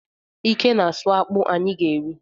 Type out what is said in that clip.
Ike na-asụ akpụ anyị ga-eri echi.